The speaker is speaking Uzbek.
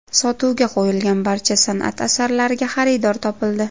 Sotuvga qo‘yilgan barcha san’at asarlariga xaridor topildi.